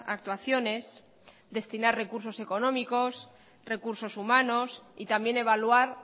actuaciones destinar recursos económicos recursos humanos y también evaluar